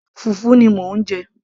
fùfú ni mò ń jẹ